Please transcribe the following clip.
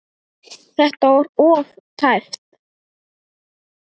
Þetta var of tæpt.